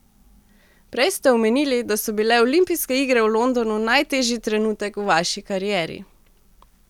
Prej ste omenili, da so bile olimpijske igre v Londonu najtežji trenutek v vaši karieri.